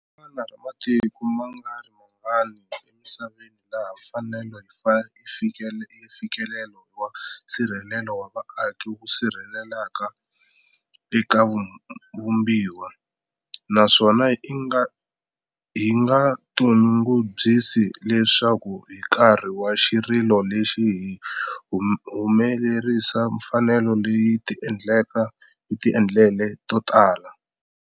Hi rin'wana ra matiko mangarimangani emisaveni laha mfanelo ya mfikelelo wa nsirhelelo wa vaaki wu sirheleriweke eka Vumbiwa, naswona hi nga tinyungubyisi leswaku hi nkarhi wa xirilo lexi hi humelerise mfanelo leyi hi tindlela to tala.